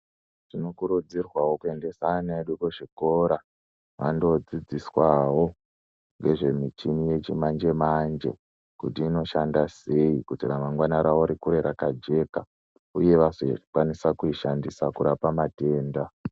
Tinokurudzirwawo kuyendesa ana edu kuzvikora, vandodzidziswawo nezvemichini yechimanje manje, kuti inoshanda seyi, kuti ramangwana ravo rikure rakajeka, uye vazokwanisa kuyishandisa kurapa matenda.